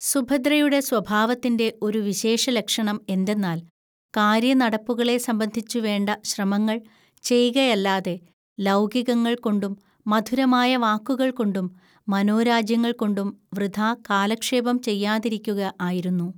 സുഭദ്രയുടെ സ്വഭാവത്തിന്റെ ഒരു വിശേഷലക്ഷണം എന്തെന്നാൽ കാര്യനടപ്പുകളെ സംബന്ധിച്ചു വേണ്ട ശ്രമങ്ങൾ ചെയ്കയല്ലാതെ ലൗകികങ്ങൾകൊണ്ടും മധുരമായ വാക്കുകൾകൊണ്ടും മനോരാജ്യങ്ങൾകൊണ്ടും വൃഥാ കാലക്ഷേപം ചെയ്യാതിരിക്കുക ആയിരുന്നു